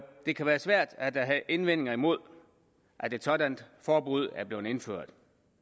det kan være svært at have indvendinger imod at et sådant forbud er blevet indført